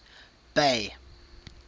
bay